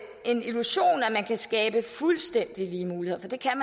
man kan skabe fuldstændig lige muligheder for det kan